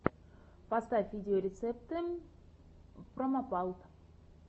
поставь видеорецепты промопалт